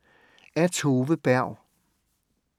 Af Tove Berg